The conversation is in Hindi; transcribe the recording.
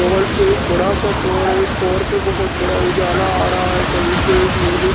वहाँ से एक बड़ा सा टॉवर है। टॉवर के बोहोत बड़ा उजाला आ रहा है। कहीं से एक नीला --